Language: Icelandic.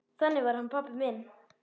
Þannig var hann pabbi minn.